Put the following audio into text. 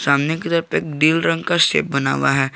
दिल रंग कर शेप बना हुआ है।